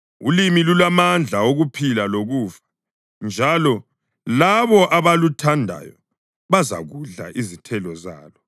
Ulimi lulamandla okuphila lokufa, njalo labo abaluthandayo bazakudla izithelo zalo.